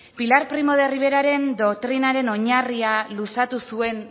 pilar primo de riveraren doktrinaren oinarria luzatu zuen